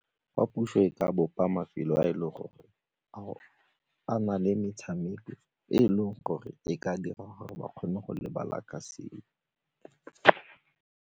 Fa puso e ka bopa mafelo a e leng gore a na le metshameko e e leng gore e ka dira gore ba kgone go lebala ka seo.